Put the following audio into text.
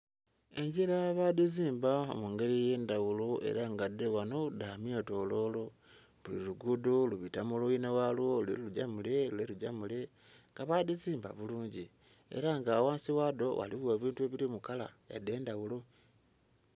Engira bagizimba mugeri ebyendhaghulo era nga dho ghanho dhamyetololo. Buli lugudho lubita mulwinhalwo lule lugya mule, lule lugya mule nga badhizimba bulungi era nga ghansi ghadho ghaligho ebintu ebili mukala edhendhaghulo.